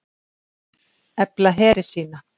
Efla heri sína